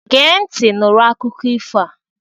Gee ntị nụrụ akụkọ ifo a!